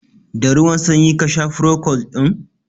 Da ruwan sanyi ka sha furocold ɗin?